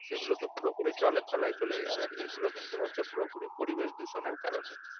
সেগুলো তো পুরোপুরি জলের তলায় চলে যাবে, আর এগুলো কিন্তু হচ্ছে পুরোপুরি পরিবেশ দূষণের কারণেই